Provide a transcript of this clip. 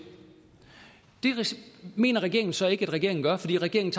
mener regeringen så ikke at regeringen gør fordi regeringen